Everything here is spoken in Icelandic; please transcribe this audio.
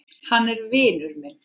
Hann er vinur minn